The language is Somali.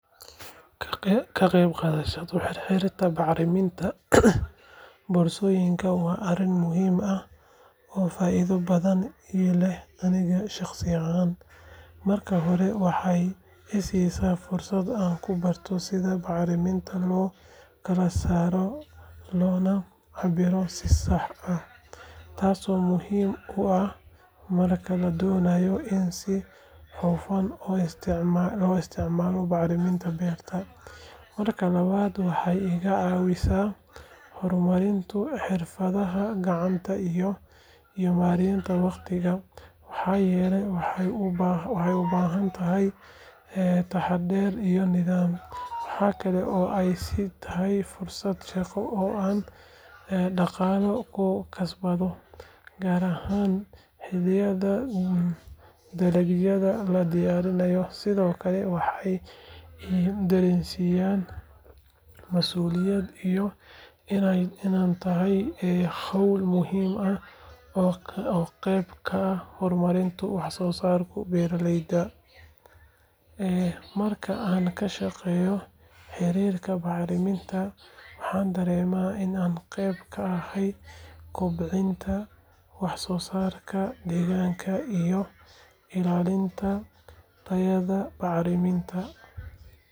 Ka qaybgalka xirxirida bacriminta boorsooyinka waa arrin muhiim ah oo faa’iido badan ii leh aniga shaqsi ahaan. Marka hore, waxay i siisaa fursad aan ku barto sida bacriminta loo kala saaro loona cabbiro si sax ah, taasoo muhiim u ah marka la doonayo in si hufan loo isticmaalo bacriminta beerta. Marka labaad, waxay iga caawisaa horumarinta xirfadaha gacanta iyo maaraynta wakhtiga, maxaa yeelay waxay u baahan tahay taxaddar iyo nidaam. Waxa kale oo ay ii tahay fursad shaqo oo aan dhaqaale ku kasbado, gaar ahaan xilliyada dalagyada la diyaarinayo. Sidoo kale, waxay i dareensiinaysaa mas’uuliyad iyo inay tahay hawl muhiim ah oo qeyb ka ah horumarinta wax-soosaarka beeraleyda. Marka aan ka shaqeeyo xirxirida bacriminta, waxaan dareemaa in aan qayb ka ahay kobcinta wax-soosaarka deegaanka iyo ilaalinta tayada bacriminta.